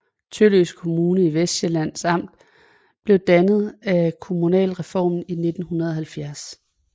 Tølløse Kommune i Vestsjællands Amt blev dannet ved kommunalreformen i 1970